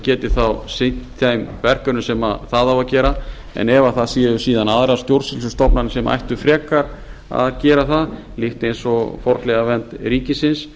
geti þá sinnt þeim verkefnum sem það á að gera en ef það séu síðan aðrar stjórnsýslustofnanir sem ættu frekar að gera það líkt eins og fornleifavernd ríkisins